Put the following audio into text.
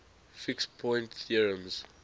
fixed point theorems